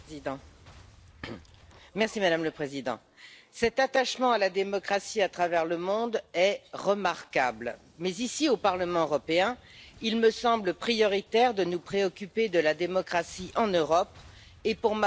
Madame la Présidente, cet attachement à la démocratie à travers le monde est remarquable, mais ici, au Parlement européen, il me semble prioritaire de nous préoccuper de la démocratie en Europe et, pour ma part a fortiori, en France.